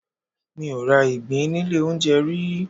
Mi ò ra ìgbín nílé olóunjẹ rí.